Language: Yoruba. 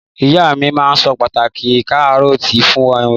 Ìyá mi ma so pàtàki Karọọti fun mi